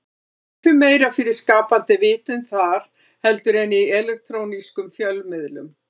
Ekki fer meira fyrir skapandi vitund þar heldur en í elektrónískum fjölmiðlum.